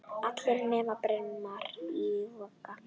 Allir nema Brimar í Vogi.